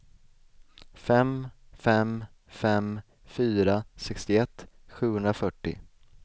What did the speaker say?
fem fem fem fyra sextioett sjuhundrafyrtio